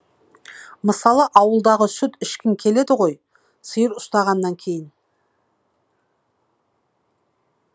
мысалы ауылдағы сүт ішкің келеді ғой сиыр ұстағаннан кейін